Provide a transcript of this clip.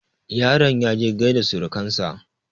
yaron ya je gaida surukansa